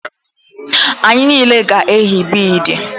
Anyị niile ga-eyi bidi